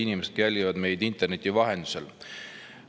Head inimesed, kes jälgivad meid interneti vahendusel!